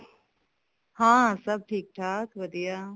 ਹਾਂ ਸਭ ਠੀਕ ਠਾਕ ਵਧੀਆ